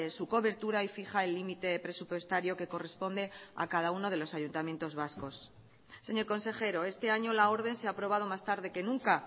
su cobertura y fija el límite presupuestario que corresponde a cada uno de los ayuntamientos vascos señor consejero este año la orden se ha aprobado más tarde que nunca